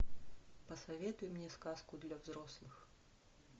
посоветуй мне сказку для взрослых